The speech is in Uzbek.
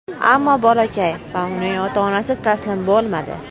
Ammo bolakay va uning ota-onasi taslim bo‘lmadi.